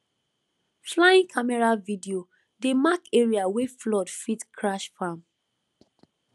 flying camera video dey mark area wey flood fit crash farm